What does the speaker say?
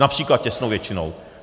Například těsnou většinou.